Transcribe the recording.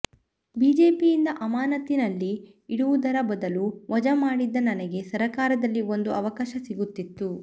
ಬಿಜೆಪಿಯಿಂದ ಅಮಾನತಿನಲ್ಲಿ ಇಡುವುದರ ಬದಲು ವಜಾ ಮಾಡಿದ್ದ ನನಗೆ ಸರಕಾರದಲ್ಲಿ ಒಂದು ಅವಕಾಶ ಸಿಗುತ್ತಿತ್ತು